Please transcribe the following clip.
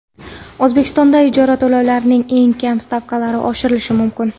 O‘zbekistonda ijara to‘lovlarining eng kam stavkalari oshirilishi mumkin.